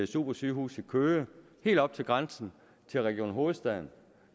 supersygehus i køge helt oppe ved grænsen til region hovedstaden